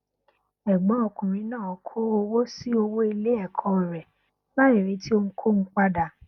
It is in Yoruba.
ẹgbọn ọkùnrin náà kó owó sí owó ilé ẹkọ rẹ láì retí ohunkóhun padà